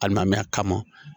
Ali n'a mɛɛnna kama